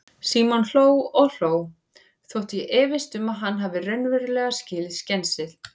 Símon hló og hló, þótt ég efist um að hann hafi raunverulega skilið skensið.